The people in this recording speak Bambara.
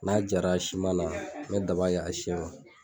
N'a jara na n be daba kɛ ka siɲɛ